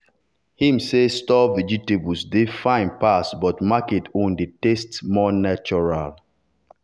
him say store vegetable dey fine pass but market own dey taste more natural.